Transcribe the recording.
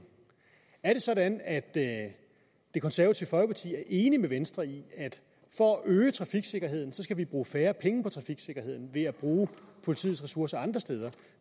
er det sådan at at det konservative folkeparti er enig med venstre i at for at øge trafiksikkerheden skal vi bruge færre penge på trafiksikkerheden altså ved at bruge politiets ressourcer andre steder